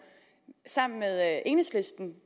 sammen med enhedslisten